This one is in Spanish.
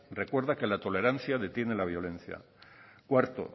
recuerda que la tolerancia detiene la violencia cuarto